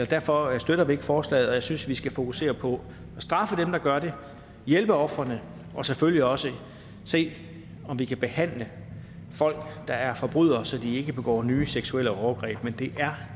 derfor støtter vi ikke forslaget jeg synes vi skal fokusere på at straffe dem der gør det hjælpe ofrene og selvfølgelig også se om vi kan behandle folk der er forbrydere så de ikke begår nye seksuelle overgreb men det er